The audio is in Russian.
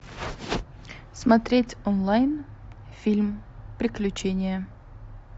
смотреть онлайн фильм приключения